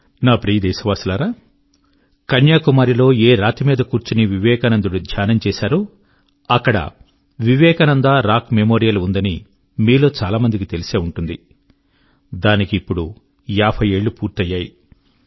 నా ప్రియ దేశవాసులారా కన్యాకుమారి లో ఏ రాతి మీద కూర్చొని వివేకానందుడు ధ్యానం చేశాడో అక్కడ వివేకానంద రాక్ మెమోరియల్ ఉందని మీలో చాలా మందికి తెలిసే ఉంటుంది దానికి ఇప్పుడు యాభై ఏళ్ళు పూర్తయినాయి